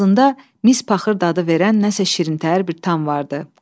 Ağzında mis paxır dadı verən nəsə şirin təhər bir tam vardı.